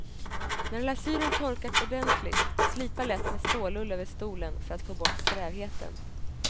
När lasyren torkat ordentligt, slipa lätt med stålull över stolen för att få bort strävheten.